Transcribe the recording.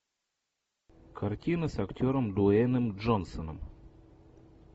картина с актером дуэйном джонсоном